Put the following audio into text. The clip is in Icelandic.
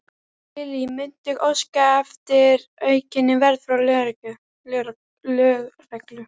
Lillý: Muntu óska eftir aukinni vernd frá lögreglu?